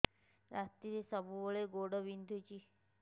ରାତିରେ ସବୁବେଳେ ଗୋଡ ବିନ୍ଧୁଛି